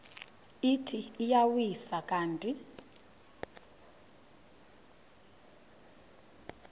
ithi iyawisa yathi